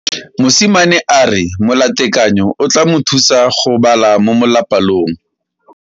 Mosimane a re molatekanyo o tla mo thusa go bala mo molapalong.